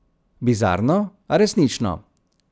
Bizarno, a resnično.